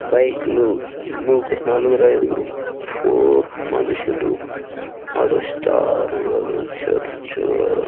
Bike లు ముగ్గురు నలుగురైదుగురు ఫో మనుషులు నడుస్తారు. అదో చర్చ్.